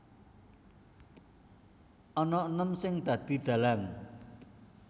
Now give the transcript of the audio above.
Ana enem sing dadi dhalang